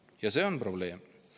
Ja see on probleem.